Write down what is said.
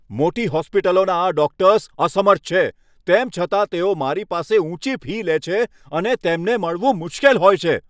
મોટી હોસ્પિટલોના આ ડોક્ટર્સ અસમર્થ છે, તેમ છતાં તેઓ મારી પાસે ઊંચી ફી લે છે અને તેમને મળવું મુશ્કેલ હોય છે.